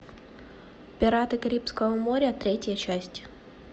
пираты карибского моря третья часть